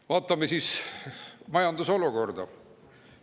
Vaatame siis majandusolukorda.